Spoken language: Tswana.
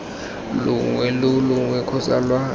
longwe lo longwe kgotsa lwa